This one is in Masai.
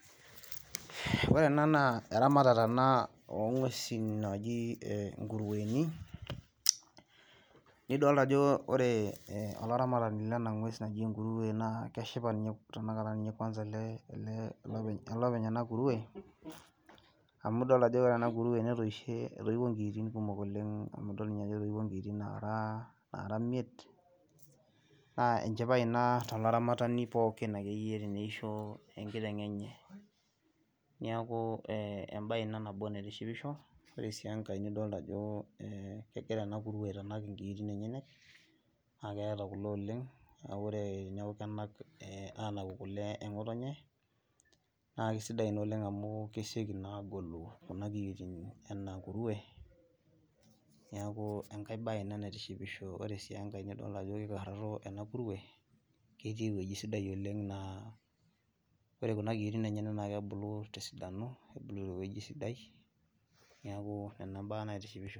ore ena naa eramatare ena oo nguesin naji ngurueni, nidoolta ajo ore olaramatini lena ng'ues naji engurue naa keshipa ninye tenakata kuansa ele, ele openy ena kurue amu idoolta ajo ore ena kurue netoishe, eitiwuo nkiitin kumok oleng, idol ninye ajo etoiwuo nkiitin naara naara imiet. naa enchipai ina, tolaramatani akeyie pookin teneisho enkiteng enye. niaku ebae ina naitshipisho, ore sii enkae nidoolta ajo kegira ena kurue aitanak inkiitin enyenyek, naa keeta kule oleng'.neeku ore naa kenak aanaku kule, eng'otonye, naa kisidai ina oleng amu kesioki naa agolu kuna kiyiotin ena kurue. niaku enkae bae ina naitishipisho, ore sii enkae naa idol ajo kikararo ena kurue. ketii ewueji sidai oleng naa. ore kuna kiyiotin enyenak naa kebulu tesidano, nebulu te weuji sidai. neeku nena baa naitishipisho.